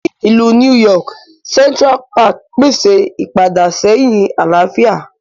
Ní Ilú New York, Central Park pèsè ipadaséhìn àlàáfíà.